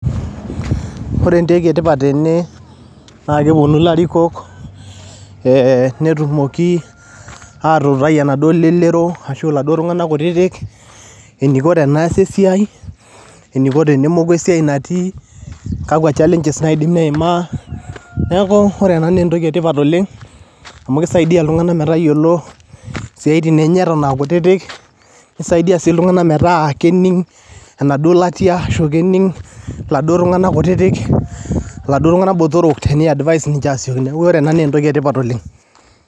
Ore entoki e tipat tene naa keponu ilarikok ee netumoki atuutai enaduo lelero, ashu laduo tung'anak kutitik eniko teneasi esia, eniko tenemoku esiai natii, kakua challenges eidim neimaa. Neeku ore naa ena naa entoki e tipat oleng', amu kisaidia iltung'anak metayolo siaitin enye eton aa kutitik, nisaidia sii iltung'anak metaa kening' enaduo latia ashu kening' laduo tung'anak kutitik, iladuo tung'anak botorok teni advice ninje asioki. Neeku ore ena naa entoki e tipat oleng'.